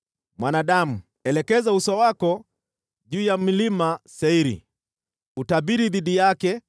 “Mwanadamu, elekeza uso wako juu ya mlima Seiri, utabiri dhidi yake